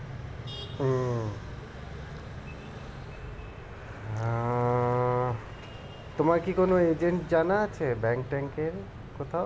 তোমার কি কোনো agent জানা আছে bank ট্যাঁক এর কোথাও